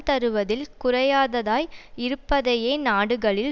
தருவதில் குறையாததாய் இருப்பதையே நாடுகளில்